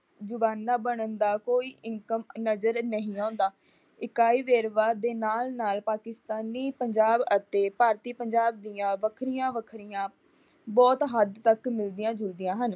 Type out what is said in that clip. ਬਣਨ ਦਾ ਕੋਈ ਇਨਕਮ ਨਜਰ ਨਹੀ ਆਉਂਦਾ। ਇਕਾਈ ਵੇਰਵਾ ਦੇ ਨਾਲ ਨਾਲ ਪਾਕਿਸਤਾਨੀ ਪੰਜਾਬ ਅਤੇ ਭਾਰਤੀ ਪੰਜਾਬ ਦੀਆਂ ਵੱਖਰੀਆਂ ਵੱਖਰੀਆਂ ਬਹੁਤ ਹੱਦ ਤੱਕ ਮੂਵੀਆਂ ਜੁੜਦੀਆਂ ਹਨ।